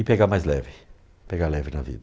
E pegar mais leve, pegar leve na vida.